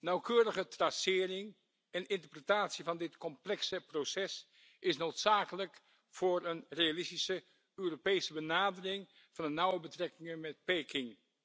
Nauwkeurige tracering en interpretatie van dit complexe proces is noodzakelijk voor een realistische Europese benadering van de nauwe betrekkingen met Peking.